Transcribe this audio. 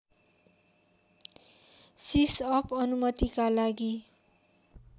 सिसअप अनुमतिका लागि